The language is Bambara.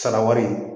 Sara wari